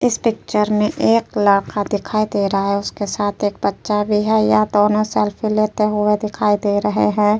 इस पिक्चर में एक लड़का दिखाई दे रहा है उसके साथ में एक बच्चा भी है ये दोनों सेल्फी लेते दिखाई दे रहे है।